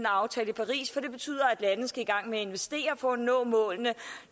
aftale i paris for det betyder at landene skal i gang med at investere for at de nå mål